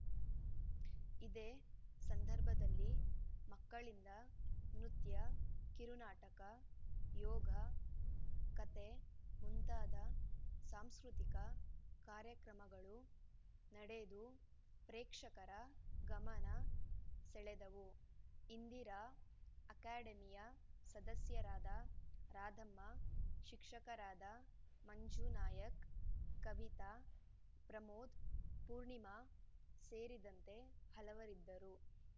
ಇದೇ ಸಂದರ್ಭದಲ್ಲಿ ಮಕ್ಕಳಿಂದ ನೃತ್ಯ ಕಿರು ನಾಟಕ ಯೋಗ ಕಥೆ ಮುಂತಾದ ಸಾಂಸ್ಕತಿಕ ಕಾರ್ಯಕ್ರಮಗಳು ನಡೆದು ಪ್ರೇಕ್ಷಕರ ಗಮನ ಸೆಳೆದವು ಇಂದಿರಾ ಅಕಾಡೆಮಿಯ ಸದಸ್ಯರಾದ ರಾಧಾಮ್ಮ ಶಿಕ್ಷಕರಾದ ಮಂಜು ನಾಯಕ್‌ ಕವಿತಾ ಪ್ರಮೋದ್‌ ಪೂರ್ಣಿಮಾ ಸೇರಿದಂತೆ ಹಲವರಿದ್ದರು